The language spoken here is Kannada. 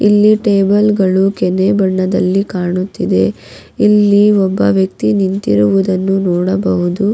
ಇಲ್ಲಿ ಟೇಬಲ್ ಗಳು ಕೆನೆ ಬಣ್ಣದಲ್ಲಿ ಕಾಣುತ್ತಿದೆ ಇಲ್ಲಿ ಒಬ್ಬ ವ್ಯಕ್ತಿ ನಿಂತಿರುವುದನ್ನು ನೋಡಬಹುದು.